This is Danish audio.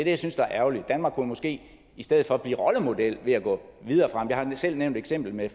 jeg synes er ærgerligt danmark kunne måske i stedet for blive rollemodel ved at gå videre frem jeg har selv nævnt eksemplet med